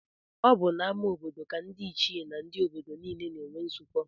Ọ bụ n'ama obodo ka ndị ichie na ndị obodo niile na-enwe nzukọ